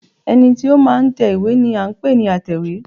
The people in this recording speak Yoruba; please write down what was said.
ẹní tí o ma n tẹ ìwé ni a n pẹ ní àtẹwé